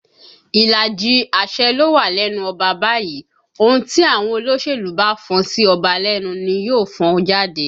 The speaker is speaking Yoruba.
Ìlàjì àṣẹ ló wà lẹ́nu ọba báyìí, ohùn tí àwọn olóṣèlú bá fọn sí ọba lẹ́nu ni yóò fọn jáde